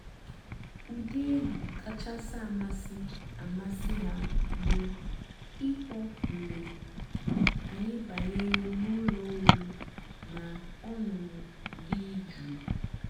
ụ́dị́ ègwú kàchàsị́ àmásị́ àmásị́ há bụ́ ị̀kpọ́ mg̀bé ànyị́ bànyèré n'ụ́lọ́ ọ̀rí nà ọ̀ṅụ́ṅụ́ dị́ jụ́ụ́.